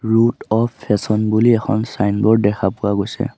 Root of fashion বুলি এখন signboard দেখা পোৱা গৈছে।